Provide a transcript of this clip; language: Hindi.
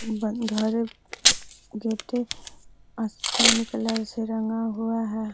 बंद घर जेते आसमानी कलर से रंगा हुआ है।